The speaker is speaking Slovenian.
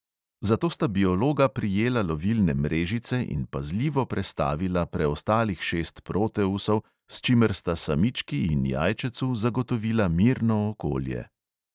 Zato sta biologa prijela lovilne mrežice in pazljivo prestavila preostalih šest proteusov, s čimer sta samički in jajčecu zagotovila mirno okolje.